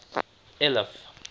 eliff